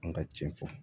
An ka cɛn fɔ